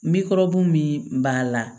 min b'a la